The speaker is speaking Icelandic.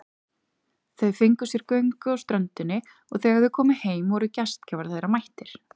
Þau fengu sér göngu á ströndinni og þegar þau komu heim voru gestgjafar þeirra mættir.